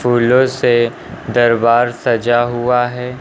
फूलों से दरबार सजा हुआ है।